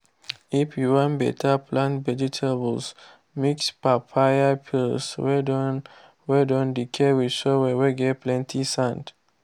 if you wan better plant vegetablesmix papaya peel whey don whey don decay with the soil whey get plenty sand.